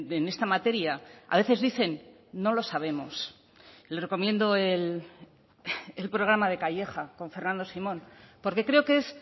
en esta materia a veces dicen no lo sabemos le recomiendo el programa de calleja con fernando simón porque creo que es